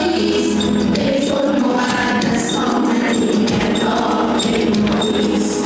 Behbud, müqəddəs hamid, biz də məşhur.